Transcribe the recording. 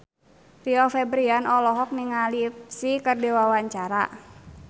Rio Febrian olohok ningali Psy keur diwawancara